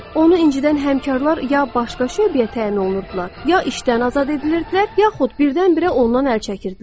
Onu əvvəlcədən həmkarlar ya başqa şöbəyə təyin olunurdular, ya işdən azad edilirdilər, yaxud birdən-birə ondan əl çəkirdilər.